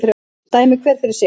Dæmi hver fyrir sig